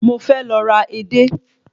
Mo fẹ́ lọ ra edé